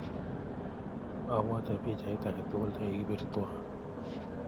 Apwoti pichaiyat ake tukul ne kikipir twai.